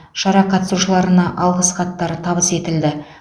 шара қатысушыларына алғыс хаттар табыс етілді